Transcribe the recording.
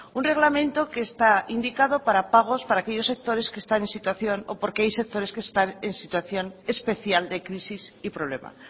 un reglamento que está indicado para pagos para aquellos sectores que están en situación o porque hay sectores que están en situación especial de crisis y problema